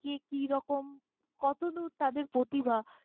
কে কিরকম কতদূর তাদের প্রতিভা!